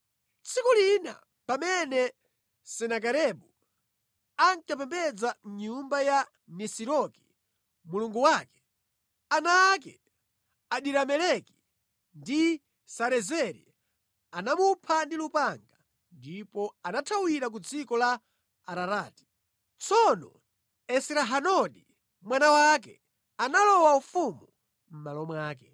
Tsiku lina, pamene Senakeribu ankapembedza mʼnyumba ya Nisiroki mulungu wake, ana ake Adirameleki ndi Sarezeri anamupha ndi lupanga ndipo anathawira ku dziko la Ararati. Tsono Esrahadoni, mwana wake, analowa ufumu mʼmalo mwake.